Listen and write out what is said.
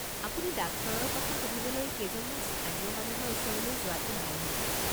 আপুনি ডাক্তৰৰ কথা সুধিবলৈ কেইজনমান স্থানীয় মানুহৰ ওচৰলৈ যোৱাটো ভাল হ'ব।